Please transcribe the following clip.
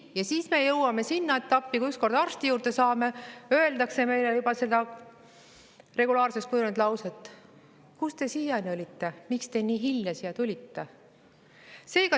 Ja siis me jõuame sinna etappi, et kui ükskord arsti juurde saame, öeldakse meile juba seda regulaarseks kujunenud lauset: "Kus te siiani olite, miks te nii hilja siia tulite?